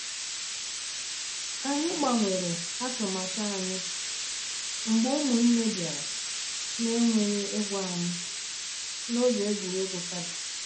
Anyị gbanwere atụmatụ anyị mgbe ụmụnne bịara na-enweghị ịgwa anyị n’oge egwuregwu kaadị.